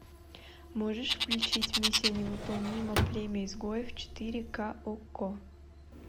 можешь включить миссия невыполнима племя изгоев четыре к окко